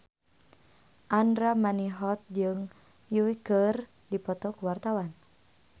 Andra Manihot jeung Yui keur dipoto ku wartawan